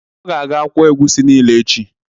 Ọ ga-aga kwụọ egusi niile echi.